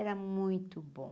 Era muito bom.